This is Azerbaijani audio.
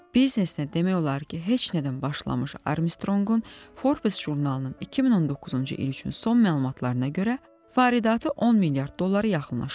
Biznesinə demək olar ki, heç nədən başlamış Armstronqun Forbes jurnalının 2019-cu il üçün son məlumatlarına görə, faridatı 10 milyard dollara yaxınlaşırdı.